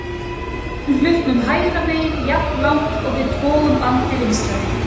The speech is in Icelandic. Við lyftum hlutnum hægra megin jafnlangt og við togum bandið vinstra megin.